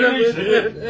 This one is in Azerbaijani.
Gəl!